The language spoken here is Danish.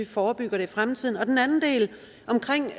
forebygge det i fremtiden den anden del omkring